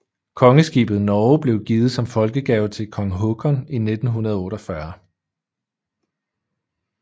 Kongeskibet Norge blev givet som folkegave til kong Haakon i 1948